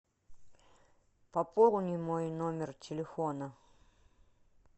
пополни мой номер телефона